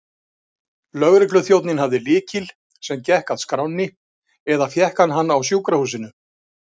Lögregluþjónninn hafði lykil, sem gekk að skránni, eða fékk hann á sjúkrahúsinu.